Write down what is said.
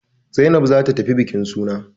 Zainab za ta tafi bukin suna.